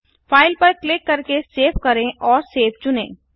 file पर click करके save करें और सेव चुनें